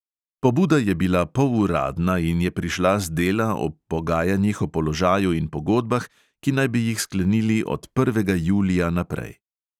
Pobuda je bila poluradna in je prišla z dela ob pogajanjih o položaju in pogodbah, ki naj bi jih sklenili od prvega julija naprej.